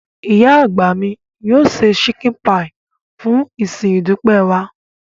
Ìyá àgbà mi yóò se chicken pie fún ìsìn ìdúpẹ́ wa.